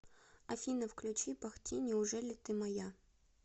афина включи бах ти неужели ты моя